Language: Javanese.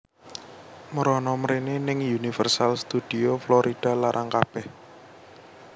Mrono mrene ning Universal Studio Florida larang kabeh